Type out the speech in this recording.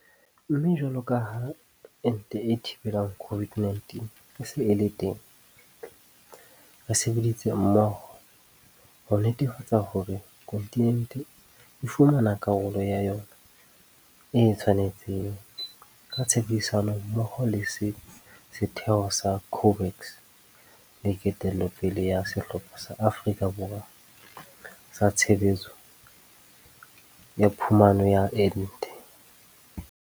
Mme jwalo ka ha ente e thibelang COVID-19 e se e le teng, re sebeditse mmoho ho netefatsa hore kontinente e fumana karolo ya yona e e tshwanetseng, ka tshebedisano mmoho le setheo sa COVAX le ketello pele ya Sehlopha sa Afrika sa Tshebetso ya Phumano ya Ente.